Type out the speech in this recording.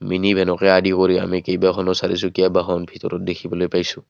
Mini ভেনকে আদি কৰি আমি কেইবাখনো চাৰিচকীয়া বাহন ভিতৰত দেখিবলৈ পাইছোঁ।